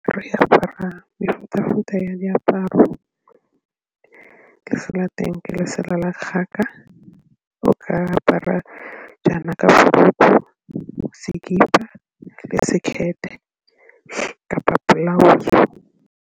Re apara mefuta-futa ya diaparo, lesela teng ke lesela la kgaka, re ka apara jaana ka kapa .